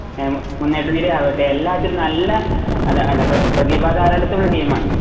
എമ് മുന്നേറ്റ നിരയാവട്ടെ എല്ലാത്തിലും ഒരു നല്ല അല്ല അല്ല പ്രതിഭ ദാരാളിത്തം ഉള്ള ടീമാണ്.